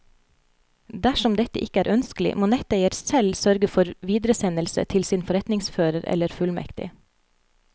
Dersom dette ikke er ønskelig, må netteier selv sørge for videresendelse til sin forretningsfører eller fullmektig.